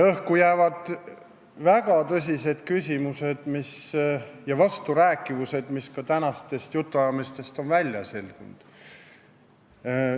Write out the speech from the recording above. Õhku jäävad väga tõsised küsimused ja vasturääkivused, mida on ka tänastest jutuajamistest selgunud.